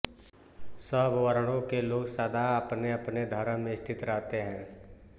सब वर्णों के लोग सदा अपनेअपने धर्म में स्थित रहते हैं